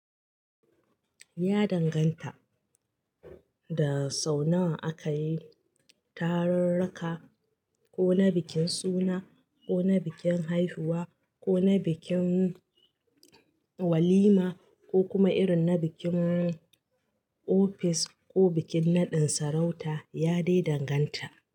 Ya danganta da sau nawa aka yi tarurruka ko na bikin suna ko na bikin haihuwa ko na bikin walima ko kuma irin na bikin ofis ko bikin naɗin sarauta. Ya dai danganta.